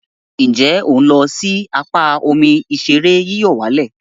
Nje o n lo si apa omi ìṣeré yíyọ̀wálẹ̀?